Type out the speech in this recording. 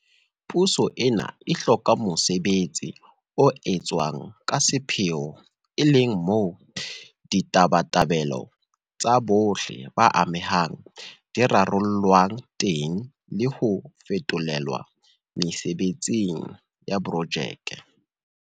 Puso ena e hloka mosebetsi o etswang ka sepheo e leng moo ditabatabelo tsa bohle ba amehang di rarollwang teng le ho fetolelwa mesebetsing ya projeke.